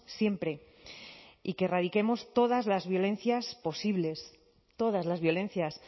siempre y que erradiquemos todas las violencias posibles todas las violencias